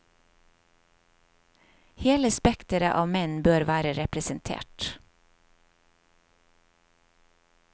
Hele spekteret av menn bør være representert.